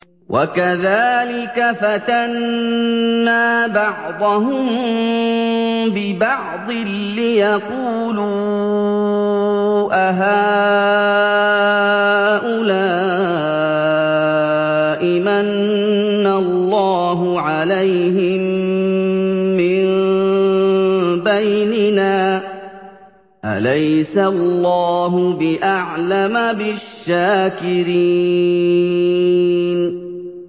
وَكَذَٰلِكَ فَتَنَّا بَعْضَهُم بِبَعْضٍ لِّيَقُولُوا أَهَٰؤُلَاءِ مَنَّ اللَّهُ عَلَيْهِم مِّن بَيْنِنَا ۗ أَلَيْسَ اللَّهُ بِأَعْلَمَ بِالشَّاكِرِينَ